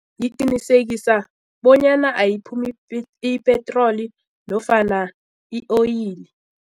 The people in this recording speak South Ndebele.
Ngiqinisekisa bonyana ayiphumi ipetroli nofana i-oyili.